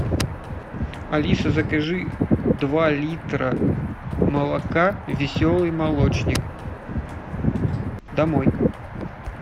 алиса закажи два литра молока веселый молочник домой